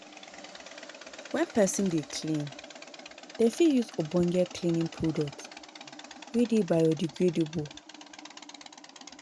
when person dey clean, dem fit use ogbonge cleaning product wey dey bio-degradable